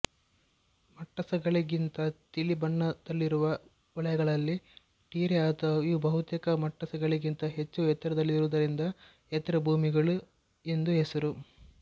ಮಟ್ಟಸಗಳಿಗಿಂತ ತಿಳಿ ಬಣ್ಣದಲ್ಲಿರುವ ವಲಯಗಳಿಗೆ ಟೆರೇ ಅಥವಾ ಇವು ಬಹುತೇಕ ಮಟ್ಟಸಗಳಿಗಿಂತ ಹೆಚ್ಚು ಎತ್ತರದಲ್ಲಿರುವುದರಿಂದ ಎತ್ತರಭೂಮಿಗಳು ಎಂದು ಹೆಸರು